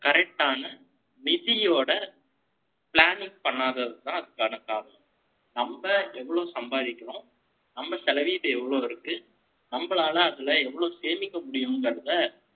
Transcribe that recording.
நம்ம correct ஆன, நிதியோட, planning பண்ணாததுதான், அதுக்கான காரணம். நம்ம எவ்வளவு சம்பாதிக்கிறோம், நம்ம செலவீட்டு எவ்வளவு இருக்கு? நம்மளால, அதுல எவ்வளவு சேமிக்க முடியுங்கறதை,